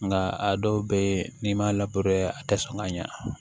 Nka a dɔw bɛ yen n'i m'a labato yɛrɛ a tɛ sɔn ka ɲɛ